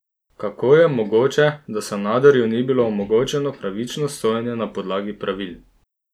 Kako je mogoče, da Sanaderju ni bilo omogočeno pravično sojenje na podlagi pravil?